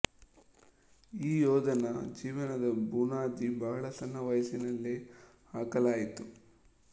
ಈ ಯೋಧನ ಜೀವನದ ಬುನಾದಿ ಬಹಳ ಸಣ್ಣ ವಯಸ್ಸಿನಲ್ಲೇ ಹಾಕಲಾಯಿತು